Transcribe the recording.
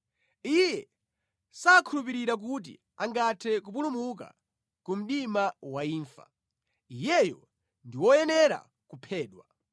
Iye sakhulupirira kuti angathe kupulumuka ku mdima wa imfa; iyeyo ndi woyenera kuphedwa.